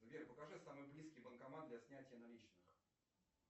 сбер покажи самый близкий банкомат для снятия наличных